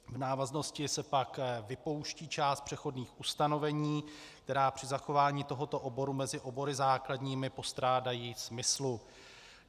V návaznosti se pak vypouští část přechodných ustanovení, která při zachování tohoto oboru mezi obory základními postrádají smyslu.